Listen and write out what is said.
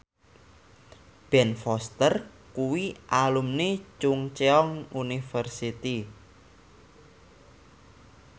Ben Foster kuwi alumni Chungceong University